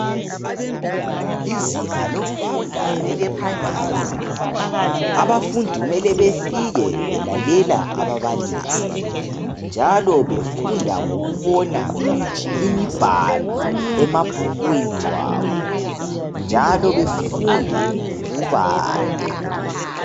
Izinga lokufunda ele primary abafundi kumele befike belalela ababalisi njalo befunda ngokubona imibhalo emabhukwini abo njalo befunde lokubala